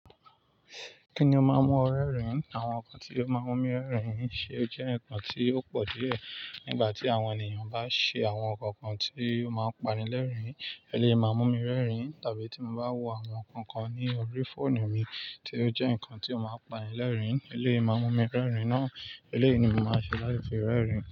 Kí ni o máa ń mú ọ rẹ́rìn-ín? Àwọn nǹkan tí ó máa ń mú mi rẹ́rìn-ín ṣe ó jẹ́ nǹkan tí ó pọ̀ díẹ̀ nígbà tí àwọn ènìyàn bá ṣe àwọn nǹkan kan tí ó máa ń pani lẹ́rìn-ín, ẹ lé máa mú mi rẹ́rìn-ín, tàbí tí mo bá wo àwọn nǹkan kan ní orí fóònù mi tí ó jẹ́ nǹkan tí ó máa ń pani lẹ́rìn-ín, ẹ lé máa mú mi rẹ́rìn-ín ná. Eléyìí ni màá ṣe láì fi rẹ́rìn-ín.